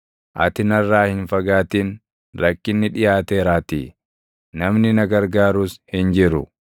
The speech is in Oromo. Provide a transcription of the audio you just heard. Ati narraa hin fagaatin; rakkinni dhiʼaateeraatii; namni na gargaarus hin jiru.